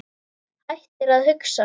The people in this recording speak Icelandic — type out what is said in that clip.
Hættir að hugsa.